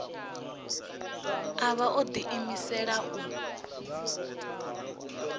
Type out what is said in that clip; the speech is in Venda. a vha o ḓiimisela u